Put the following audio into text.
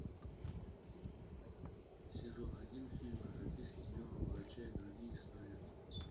сезон один фильма записки юного врача и другие истории